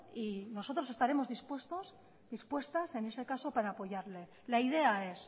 y nosotros estaremos dispuestos dispuestas en ese caso para apoyarle la idea es